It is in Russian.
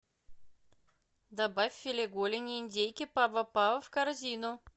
добавь филе голени индейки пава пава в корзину